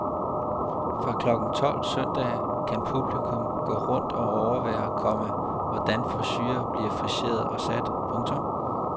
Fra klokken tolv søndag kan publikum gå rundt og overvære, komma hvordan frisurer bliver friseret og sat. punktum